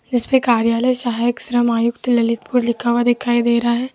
जिसपे कार्यालय सहायक श्रम आयुक्त ललितपुर दिखाई दे रहा है।